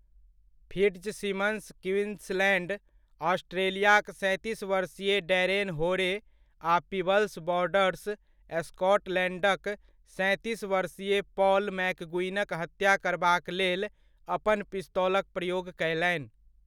Fitzsimmons Queensland, ऑस्ट्रेलियाक सैंतीस वर्षीय डैरेन होरे आ पीबल्स, बॉर्डर्स, स्कॉटलैण्डक सैंतीस वर्षीय पॉल मैकगुइगनक हत्या करबाक लेल अपन पिस्तौलक प्रयोग कयलनि।